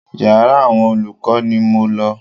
Yàrá àwọn olùkọ́ ni mo lọ.